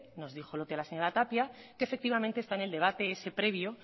nos dijo lo que la señora tapia que efectivamente está en el debate ese previo